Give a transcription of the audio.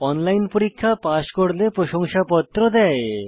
online পরীক্ষা pass করলে প্রশংসাপত্র দেয়